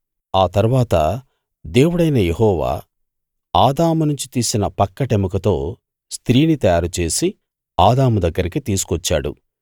ఆ తరువాత దేవుడైన యెహోవా ఆదాము నుంచి తీసిన పక్కటెముకతో స్త్రీని తయారుచేసి ఆదాము దగ్గరికి తీసుకువచ్చాడు